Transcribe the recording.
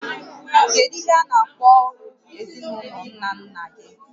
Kedu ihe a na-akpọ ọrụ ezinaụlọ nna nna gị?